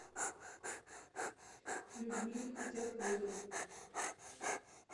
людмиле худяковой